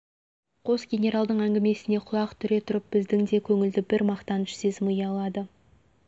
қос генералдың әңгімесіне құлақ түре тұрып біздің де көңілді бір мақтаныш сезімі ұялады